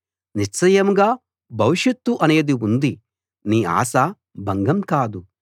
నిశ్చయంగా భవిషత్తు అనేది ఉంది నీ ఆశ భంగం కాదు